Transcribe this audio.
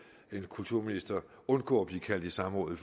en kulturminister undgå at blive kaldt i samråd i